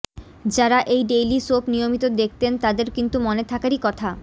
যারা এই daily soap নিয়মিত দেখতেন তাঁদের কিন্তু মনে থাকারই কথা